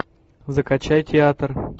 закачай театр